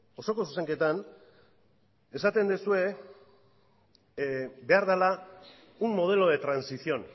osoko zuzenketan esaten duzue behar dela un modelo de transición